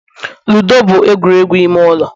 ludo bụ egwuregwu ime ụlọ